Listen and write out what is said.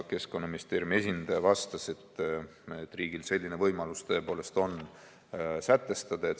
Keskkonnaministeeriumi esindaja vastas, et riigil selline võimalus niimoodi sätestada tõepoolest on.